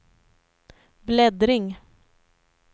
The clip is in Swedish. bläddring